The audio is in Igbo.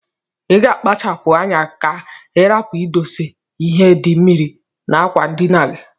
Iga akpacha pu anya ka irapu idose ihe di mmiri na akwa ndina gi.